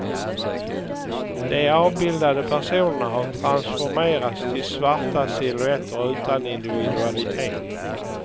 De avbildade personerna har transformerats till svarta silhuetter utan individualitet.